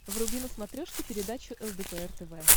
вруби на смотрешке передачу лдпр тв